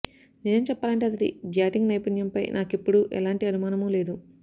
నిజం చెప్పాలంటే అతడి బ్యాటింగ్ నైపుణ్యంపై నాకెప్పుడూ ఎలాంటి అనుమానమూ లేదు